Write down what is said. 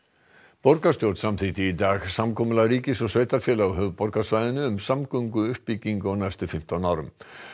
borgarstjórn samþykkti í dag samkomulag ríkis og sveitarfélaga á höfuðborgarsvæðinu um samgönguuppbyggingu á næstu fimmtán árum